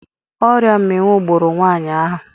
Oria mminwu gburu nwaanyị ahụ.